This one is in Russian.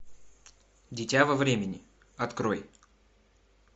дитя во времени открой